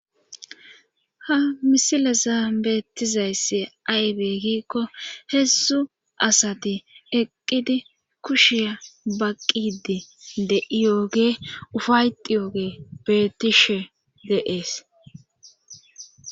ha misile zaabettizayssi aybe giikko hessu asati eqqidi kushiya baqqidi de7iyooge ufayxi yooge beetishe deees